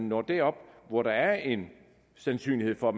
når derop hvor der er en sandsynlighed for at